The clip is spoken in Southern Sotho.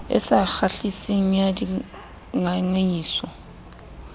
e sa kgahliseng ya dingangisano